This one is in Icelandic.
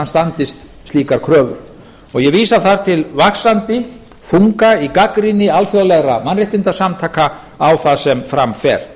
standist slíkar kröfur ég vísa þar til vaxandi þunga í gagnrýni alþjóðlegra mannréttindasamtaka á það sem fram fer